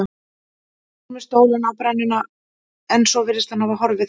Ég fór með stólinn á brennuna en svo virðist hann hafa horfið þaðan.